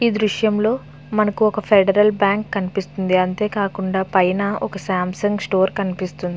ఈ దృశ్యం లో మనకి ఒక ఫెడరల్ బ్యాంకు కనిపిస్తూ వుంది. అంతే కాకుండా పైన ఒక సంసుంగ్ స్టోర్ కనిపిస్తూ వుంది.